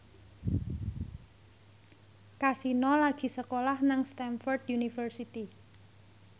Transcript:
Kasino lagi sekolah nang Stamford University